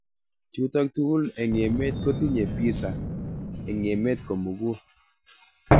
Chutok tugul eng emet kotinye PISA eng emet komukul.